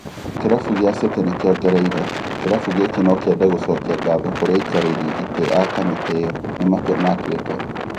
Kĩrabu gĩa City nĩkĩongereire "kĩrabu gĩkĩ nokĩende gũcokia ngatho kũrĩ aikarĩri itĩ a kamĩtĩ ĩyo nĩ matua matuite"